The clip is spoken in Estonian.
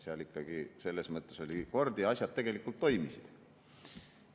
Selles mõttes ikkagi oli kord majas ja asjad tegelikult toimisid.